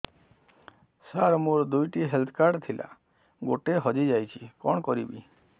ସାର ମୋର ଦୁଇ ଟି ହେଲ୍ଥ କାର୍ଡ ଥିଲା ଗୋଟେ ହଜିଯାଇଛି କଣ କରିବି